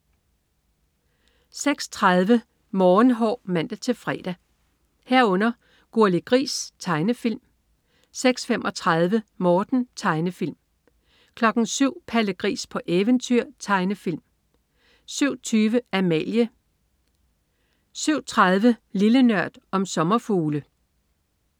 06.30 Morgenhår (man-fre) 06.30 Gurli Gris. Tegnefilm (man-fre) 06.35 Morten. Tegnefilm (man-fre) 07.00 Palle Gris på eventyr. Tegnefilm (man-fre) 07.20 Amalie (man-fre) 07.30 Lille Nørd. Om sommerfugle (man-fre)